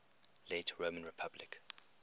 late roman republic